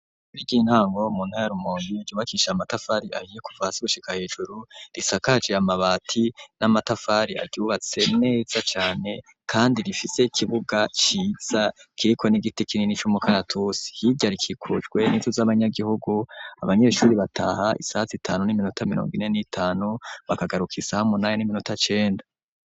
Ishure ry'intango mu ntara ya rumonge ryubakisha matafari ahiye kuva hasi gushika hejuru risakaje amabati n'amatafari ryubatse neza cane kandi rifite kibuga ciza kiriko n'igiti kinini c'umukaratusi hirya rikikujwe n'inzu z'abanyagihugu abanyeshure bataha isaha zitanu n'iminota mirongo ine n'itanu bakagaruka isaha munani n'iminota cenda